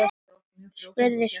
spurði Stulli.